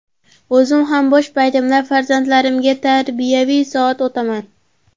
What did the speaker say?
O‘zim ham bo‘sh paytimda farzandlarimga tarbiyaviy soat o‘taman.